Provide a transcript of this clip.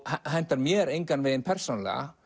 hentar mér engan veginn persónulega